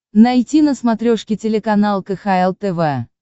найти на смотрешке телеканал кхл тв